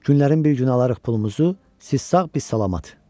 Günlərin bir günü alarıq pulumuzu, siz sağ, biz salamat.